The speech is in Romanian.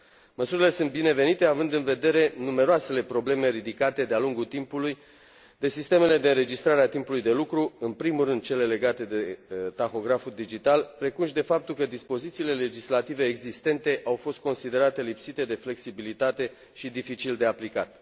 Măsurile sunt binevenite, având în vedere numeroasele probleme ridicate de a lungul timpului de sistemele de înregistrare a timpului de lucru, în primul rând cele legate de tahograful digital, precum și de faptul că dispozițiile legislative existente au fost considerate lipsite de flexibilitate și dificil de aplicat.